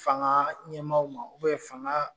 Fanga ɲɛmaw ma fanga.